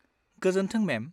गोजोन्थों, मेम।